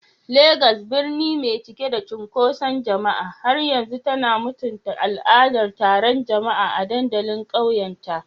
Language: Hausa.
Legas, birni mai cike da cunkoson jama'a, har yanzu tana mutunta al'adar taron jama'a a dandalin ƙauyenta.